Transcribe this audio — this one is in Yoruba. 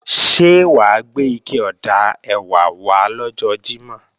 Ṣé wà á gbé ike ọ̀dà ẹ̀wà wá lọ́jọ́ Jímọ̀?